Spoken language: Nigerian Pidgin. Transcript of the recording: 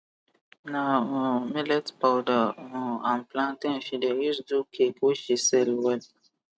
na um millet powder um and plantain she de use do cake wey she sell well